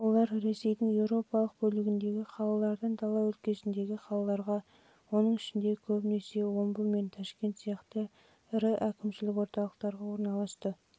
олар ресейдің еуропалық бөлігіндегі қалалардан дала өлкесіндегі қалаларға оның ішінде көбінесе омбы пен ташкент сияқты ірі әкімшілік орталықтарға